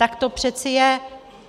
Tak to přece je.